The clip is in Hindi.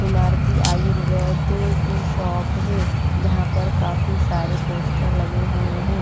हीमारदी आयुर्वेद की शॉप है जहां पर काफी सारे पोस्टर लगे हुए हैं।